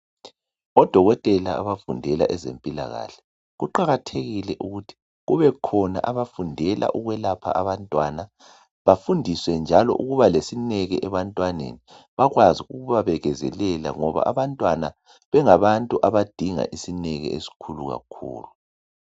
ODokotela abafundela ezempilakahle kuqakathekile, ukuthi kubekhona abafundela ukwelapha abantwana bafundiswe njalo ukuba lesineke ebantwaneni, bakwazi njalo kubabekezelela ngoba abantwana bengabantu abadinga isineke esikhulu kakhulu.